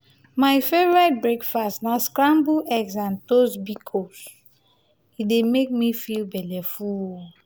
my favorite breakfast na scrambled eggs and toast bikos e dey make me belleful.